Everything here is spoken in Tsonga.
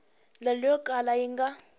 ndlela yo kala yi nga